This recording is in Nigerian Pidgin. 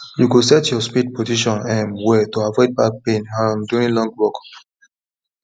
you go set your spade position um well to avoid back pain um during long work